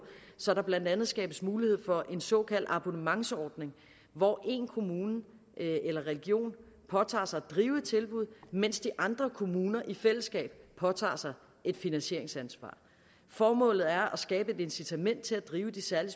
så der blandt andet skabes mulighed for en såkaldt abonnementsordning hvor en kommune eller region påtager sig at drive et tilbud mens de andre kommuner i fællesskab påtager sig et finansieringsansvar formålet er at skabe et incitament til at drive de særlig